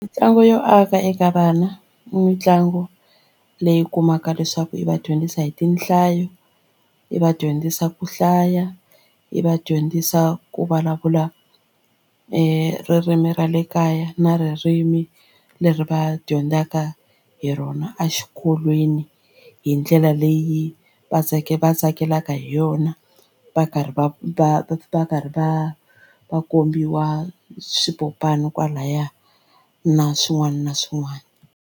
Mitlangu yo aka eka vana mitlangu leyi kumaka leswaku yi va dyondzisa hi tinhlayo, yi va dyondzisa ku hlaya, yi va dyondzisa ku vulavula e ririmi ra le kaya na ririmi leri va dyondzaka hi rona exikolweni hi ndlela leyi va tsake va tsakelaka hi yona va karhi va va va karhi va va kombiwa swipopani kwalaya na swin'wana na swin'wana.